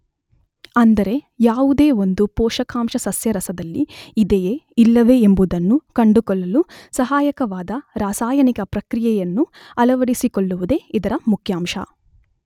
ಅಂದರೆ ಯಾವುದೇ ಒಂದು ಪೋಷಕಾಂಶ ಸಸ್ಯರಸದಲ್ಲಿ ಇದೆಯೆ ಇಲ್ಲವೆ ಎಂಬುದನ್ನು ಕಂಡುಕೊಳ್ಳಲು ಸಹಾಯಕವಾದ ರಾಸಾಯನಿಕ ಪ್ರಕ್ರಿಯೆಯನ್ನು ಅಳವಡಿಸಿಕೊಳ್ಳುವುದೇ ಇದರ ಮುಖ್ಯಾಂಶ.